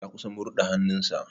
Ya kusan murɗa hannun sa.